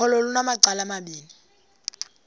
ukholo lunamacala amabini